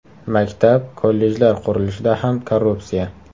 Maktab, kollejlar qurilishida ham korrupsiya.